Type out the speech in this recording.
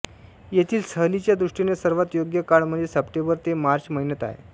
येथील सहलीच्या दृष्टीने सर्वांत योग्य काळ म्हणजे सप्टेंबर ते मार्च महिन्यात आहे